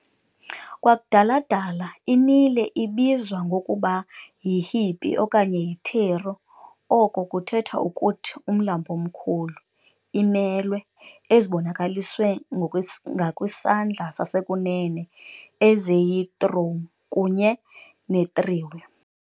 Kwakudala-dala, i-Nile ibizwa ngokuba yi-"Ḥ'pī" okanye yi"iteru", oko kuthetha ukuthi "Umlambo Omkhulu", imelwe ezibonakaliswe ngakwisandla sasekunene, eziyi-"trum", kunye netriwe.